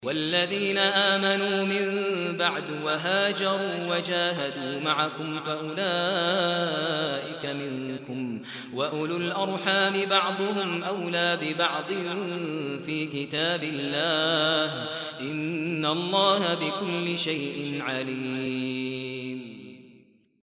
وَالَّذِينَ آمَنُوا مِن بَعْدُ وَهَاجَرُوا وَجَاهَدُوا مَعَكُمْ فَأُولَٰئِكَ مِنكُمْ ۚ وَأُولُو الْأَرْحَامِ بَعْضُهُمْ أَوْلَىٰ بِبَعْضٍ فِي كِتَابِ اللَّهِ ۗ إِنَّ اللَّهَ بِكُلِّ شَيْءٍ عَلِيمٌ